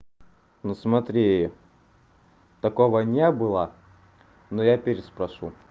ну смотри такого не было но я переспрошу